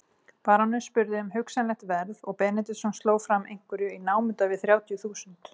Baróninn spurði um hugsanlegt verð og Benediktsson sló fram einhverju í námunda við þrjátíu þúsund.